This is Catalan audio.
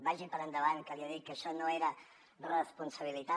vagi per endavant que li he dit que això no era responsabilitat